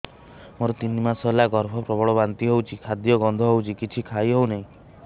ମୋର ତିନି ମାସ ହେଲା ଗର୍ଭ ପ୍ରବଳ ବାନ୍ତି ହଉଚି ଖାଦ୍ୟ ଗନ୍ଧ ହଉଚି କିଛି ଖାଇ ହଉନାହିଁ